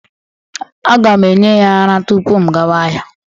Aga m enye ya ara tupu m gawa ahịa.